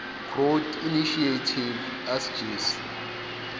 growth initiative asgisa